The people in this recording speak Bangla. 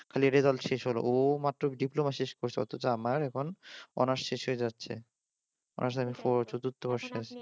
খালি রেজাল্ট শেষ হলো ও মাত্র ডিপ্লোমা শেষ করেছে আমার এখন অনার্স শেষ হয়ে যাচ্ছে অনার্স লেবেল ফোর চতুর্থ বর্ষ শেষ।